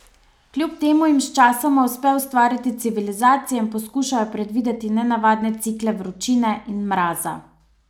Kljub temu jim sčasoma uspe ustvariti civilizacije in poskušajo predvideti nenavadne cikle vročine in mraza ...